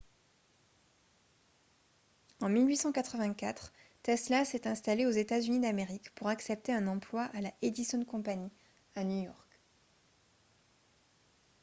en 1884 tesla s'est installé aux états-unis d'amérique pour accepter un emploi à la edison company à new york